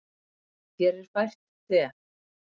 Þér er fært te.